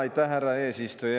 Aitäh, härra eesistuja!